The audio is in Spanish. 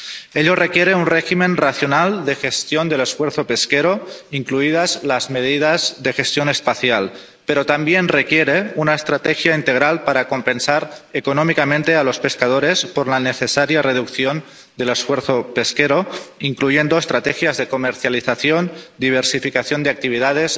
Ello requiere un régimen racional de gestión del esfuerzo pesquero, incluidas las medidas de gestión espacial, pero también requiere una estrategia integral para compensar económicamente a los pescadores por la necesaria reducción del esfuerzo pesquero, incluyendo estrategias de comercialización, diversificación de actividades,